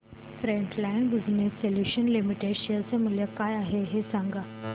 frontline Business Solutions Limited share चे मूल्य काय आहे हे सांगा